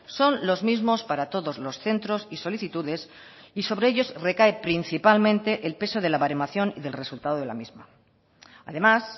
son los mismos para todos los centros y solicitudes y sobre ellos recae principalmente el peso de la baremación y del resultado de la misma además